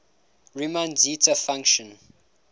riemann zeta function